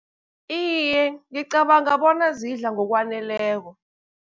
Iye, ngicabanga bona zidla ngokwaneleko.